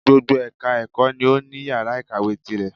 Gbogbo ẹka ẹ̀kọ́ ni o ní yàrá ìkàwé tirẹ̀.